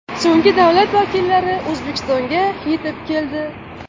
So‘nggi davlat vakillari O‘zbekistonga yetib keldi.